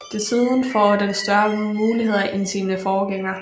Desuden får den større muligheder end sine forgængere